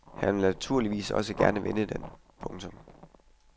Han vil naturligvis også gerne vinde den. punktum